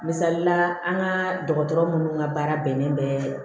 Misalila an ka dɔgɔtɔrɔ munnu ka baara bɛnnen bɛ